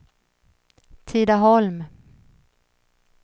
Tidaholm